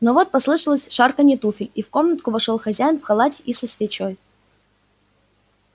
но вот послышалось шарканье туфель и в комнатку вошёл хозяин в халате и со свечой